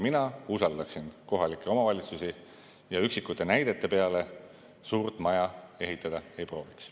Mina usaldaksin kohalikke omavalitsusi ja üksikute näidete peale suurt maja ehitada ei prooviks.